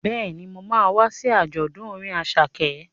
Bẹ́ẹ̀ni, mo ma wá sí àjọ̀dún orin Àṣàkẹ́